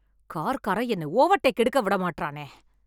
Car காரென் என்ன overtake எடுக்க விட மாட்றானே.